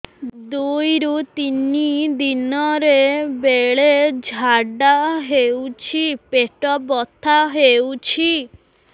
ଦୁଇରୁ ତିନି ଦିନରେ ବେଳେ ଝାଡ଼ା ହେଉଛି ପେଟ ବଥା ହେଉଛି